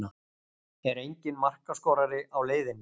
Er enginn markaskorari á leiðinni?